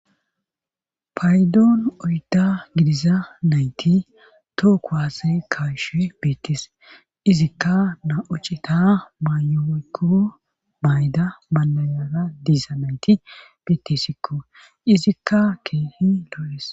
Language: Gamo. Paydoon oyda gidiza nayti tooko haase kaashue beettes izikka na7ocita maayoykko mayda manayara diiza nayti betessikko izikka kehi loo7es